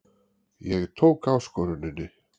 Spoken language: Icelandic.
Ég tók áskoruninni.